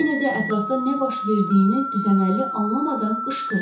Kennedi ətrafda nə baş verdiyini düzəməlli anlamadan qışqırdı.